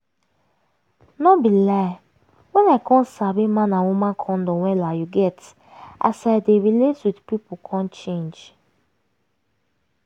no be lie when i come sabi man and woman condom wella you get as i dey relate with pipu come change